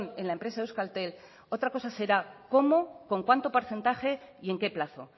en la empresa euskaltel otra cosa será cómo con cuánto porcentaje y en qué plazo